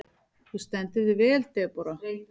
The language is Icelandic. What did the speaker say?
Þú stendur þig vel, Debóra!